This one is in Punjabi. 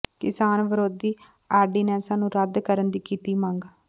ਕਿਸਾਨ ਵਿਰੋਧੀ ਆਰਡੀਨੈਂਸਾਂ ਨੂੰ ਰੱਦ ਕਰਨ ਦੀ ਕੀਤੀ ਮੰਗ